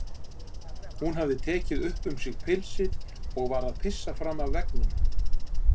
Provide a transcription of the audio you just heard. Hún hafði tekið upp um sig pilsið og var að pissa fram af veggnum.